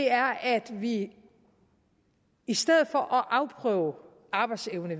er at vi i stedet for at afprøve arbejdsevne